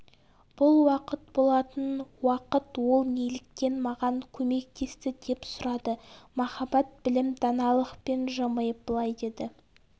бұл уақыт болатын уақыт ол неліктен маған көмектесті деп сұрады махаббат білім даналықпен жымиып былай деді